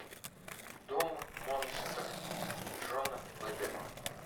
дом монстр джона бэдама